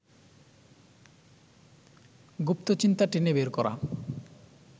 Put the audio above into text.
গুপ্ত চিন্তা টেনে বের করা